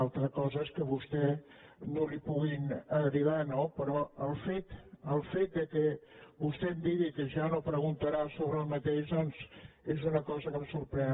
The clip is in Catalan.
una altra cosa és que a vostè ni li puguin agradar no però el fet que vostè em digui que ja no preguntarà sobre el mateix doncs és una cosa que em sorprèn